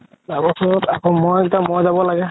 যাবৰ পৰত আকৌ মই এতিয়া মই যাব লাগে